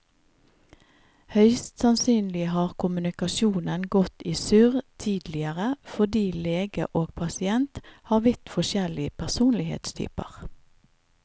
Høyst sannsynlig har kommunikasjonen gått i surr tidligere fordi lege og pasient har vidt forskjellig personlighetstyper.